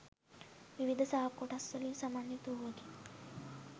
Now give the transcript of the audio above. විවිධ ශාක කොටස් වලින් සමන්විත වූවකි.